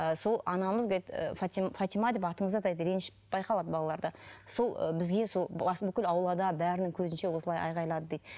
ы сол анамыз фатима деп атыңызды атайды реніш байқалады балаларда сол і бізге сол бүкіл аулада бәрінің көзінше осылай айғайлады дейді